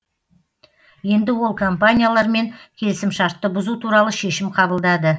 енді ол компаниялармен келісімшартты бұзу туралы шешім қабылдады